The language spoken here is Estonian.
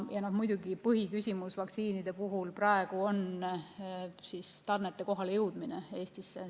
Ja muidugi põhiküsimus vaktsiinide puhul on tarnete kohalejõudmine Eestisse.